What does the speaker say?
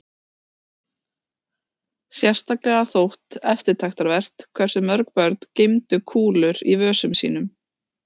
Sérstaklega þótt eftirtektarvert hversu mörg börn geymdu kúlur í vösum sínum.